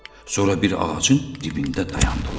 Sonra bir ağacın dibində dayandılar.